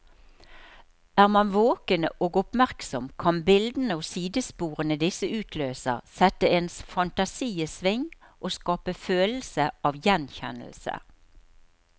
Er man våken og oppmerksom, kan bildene og sidesporene disse utløser, sette ens fantasi i sving og skape følelse av gjenkjennelse.